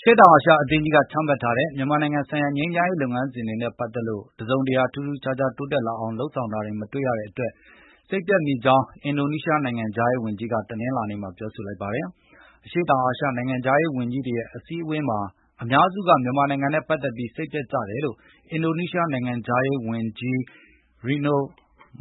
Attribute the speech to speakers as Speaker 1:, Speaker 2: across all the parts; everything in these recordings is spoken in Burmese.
Speaker 1: ရှေ့တောင်အာရှအသင်းကြီးကချမှတ်ထားတဲ့ မြန်မာနိုင်ငံဆိုင်ရာ ငြိမ်းချမ်းရေးလုပ်ငန်းစဉ်တွေနဲ့ပတ်သက်ပြီး တစုံတရာ ထူးထူးခြားခြား တိုးတက်လာအောင် လုပ်ဆောင်တာမတွေ့ရတဲ့အတွက် စိတ်ပျက်မိကြောင်း အင်ဒိုနီးရှားနိုင်ငံခြားရေးဝန်ကြီးက တနင်္လာနေ့မှာပြောဆိုလိုက်ပါတယ်။ အရှေ့တောင်အာရှနိုင်ငံခြားရေးဝန်ကြီးတွေရဲ့အစည်းအဝေးမှာ အများစုက မြန်မာနိုင်ငံနဲ့ပတ်သက်ပြီး စိတ်ပျက်ကြတယ်လို့ အင်ဒိုနီးရှားနိုင်ငံခြားရေးဝန်ကြီး Retno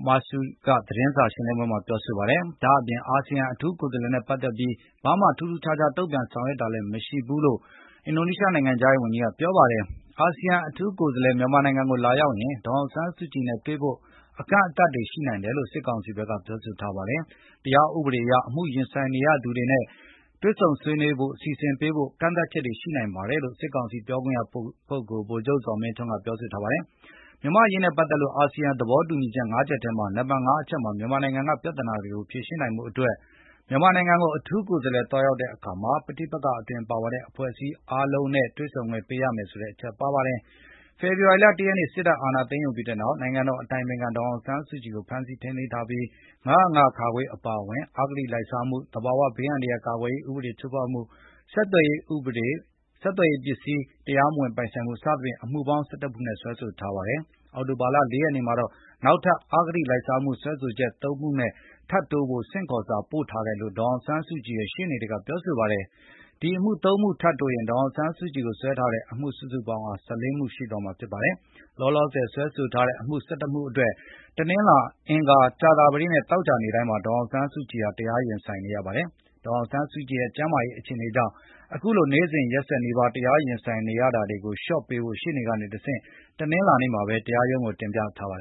Speaker 1: Marsudi က သတင်းစာရှင်းလင်းပွဲမှာ ပြောဆိုခဲ့ပါတယ်။ ဒါ့အပြင် အာဆီယံအထူးကိုယ်စားလှယ်နဲ့ပတ်သက်ပြီး ဘာမှ ထူးထူးခြားခြား တုံ့ပြန်ဆောင်ရွက်တာလည်း မရှိဘူးလို့ ဆိုပါတယ်။ အာဆီယံ အထူးကိုယ်စားလှယ် မြန်မာနိုင်ငံကိုလာရောက်ရင် ဒေါ်အောင်ဆန်းစုကြည်နဲ့တွေ့ဖို့ အကန့်အသတ်တွေရှိနိုင်တယ်လို့ စစ်ကောင်စီဘက်ကပြောဆိုထားပါတယ်။ တရားဥပဒေအရ အမှုရင်ဆိုင်နေရ သူများနှင့်တွေ့ဆုံရေး စီစဉ်ပေးဖို့ ကန့်သတ်ချက်တွေရှိ နိုင်ပါတယ်လို့ စစ်ကောင်စီပြောခွင့်ရပုဂ္ဂုလ် ဗိုလ်ချုပ်ဇော်မင်းထွန်းက ပြောဆိုထားပါတယ်။ မြန်မာ့အရေးနဲ့ပတ်သက်လို့ အာဆီယံ သဘောတူညီချက် ၅ ချက်ထဲက နံပါတ် ၅ အချက်မှာ မြန်မာနိုင်ငံက ပြဿနာတွေကို ဖြေရှင်းနိုင်ဖို့အတွက် မြန်မာနိုင်ငံကို အထူးကိုယ်စားလှယ် သွားရောက်တဲ့အခါ ပဋိပက္ခအတွင်း ပါဝင်တဲ့ အဖွဲ့အစည်းအားလုံး ပါဝင်နေသူအားလုံးနဲ့ တွေ့ဆုံခွင့်ပေးရမယ်ဆိုတဲ့ အချက်ပါဝင်ပါတယ်။ ဖေဖေါ်ဝါရီလ ၁ ရက်နေ့ စစ်တပ်က အာဏာသိမ်းယူပြီးနောက် နိုင်ငံတော်အတိုင်ပင်ခံ ဒေါ်အောင်ဆန်းစုကြည်ကို ဖမ်းဆီးထိန်းသိမ်းထားပြီး ၅၀၅ (ခ) အပါအဝင် အဂတိလိုက်စားမှု၊ သဘာဝဘေးအန္တရယ် ကာကွယ်ရေး ဥပဒေ ချိုးဖေါက်မှု၊ ဆက်သွယ်ရေးပစ္စည်းတရားမပိုင်ဆိုင်မှု၊ စသည်ဖြင့် အမှုပေါင်း ၁၁ နဲ့စွဲဆိုထားပါတယ်။ အောက်တိုဘာလ ၄ ရက်နေ့မှာ နောက်ထပ် အဂတိလိုက်စားမှု စွဲချက်နဲ့ အမှု ၃ မှုထပ်တိုးဖို့ ဆင့်ခေါ်စာပို့ထားတယ်လို့ ဒေါ်အောင် ဆန်းစုကြည်ရဲ့ ရှေ့နေတွေကပြောဆိုပါတယ်။ ဒီအမှု ၃ မှု ထပ်တိုးရင် ဒေါ်အောင်ဆန်းစုကြည်ကို စွဲဆိုထားတဲ့ စုစုပေါင်း အမှုဟာ ၁၄ ခုရှိသွားမှာဖြစ်ပါတယ်။ လောလောဆယ် စွဲဆိုထားတဲ့အမှု ၁၁ မှုအတွက်တနင်္လာ၊ အင်္ဂါ၊ ကြာသာပတေးနဲ့ သောကြာနေ့တိုင်းမှာ ဒေါ်အောင်ဆန်းစုကြည်ဟာ တရားရင်ဆိုင်နေရပါတယ်။ ဒေါ်အောင်ဆန်းစုကြည်ရဲ့ ကျမ်းမာရေးအခြေအနေကြောင့် အခုလို နေ့စဉ်ရက်ဆက်နီးပါး တရားရင် ဆိုင်နေရတာတွေကို ရက်လျှော့ချပေးဖို့ရှေ့နေတွေကနေတဆင့် တနင်္လာနေ့မှာပဲ တရားရုံးကိုတင်ပြထားပါတ